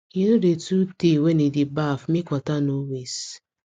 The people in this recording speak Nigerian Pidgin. he no dey too tey when e dey baff make water no waste